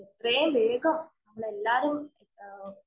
എത്രയും വേഗം നമ്മളെല്ലാരും